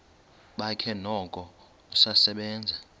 bakhe noko usasebenza